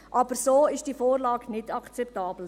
Aber so ist diese Vorlage nicht akzeptabel.